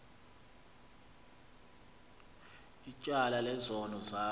ityala lezono zam